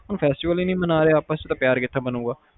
ਹੁਣ festival ਈ ਨੀ ਮਨਾ ਰਹੇ ਆ ਪਿਆਰ ਕਿਥੋਂ ਬਣੂਗਾ